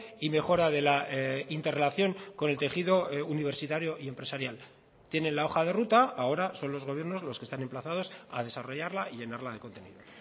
y mejora de la interrelación con el tejido universitario y empresarial tienen la hoja de ruta ahora son los gobiernos los que están emplazados a desarrollarla y llenarla de contenido